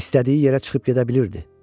İstədiyi yerə çıxıb gedə bilirdi.